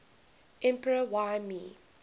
emperor y mei